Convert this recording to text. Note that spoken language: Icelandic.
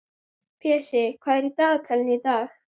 Pési, hvað er á dagatalinu í dag?